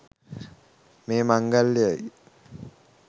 මේ මංගල්‍යයයි.